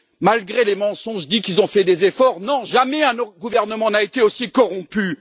Malgré les mensonges qui disent qu'ils ont fait des efforts non, jamais un gouvernement n'a été aussi corrompu!